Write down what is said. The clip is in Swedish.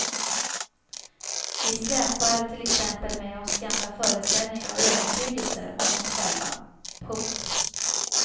Vi släpar till exempel med oss gamla föreställningar och övertygelser om oss själva. punkt